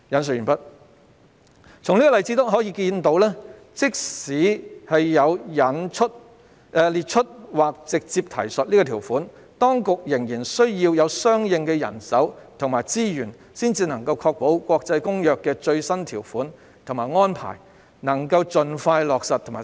"從這例子可見，即使有了"列出或直接提述"《公約》的內容這項條款，當局仍然需要有相應的人手和資源，才能確保《公約》的最新條款和安排能盡快在港實施。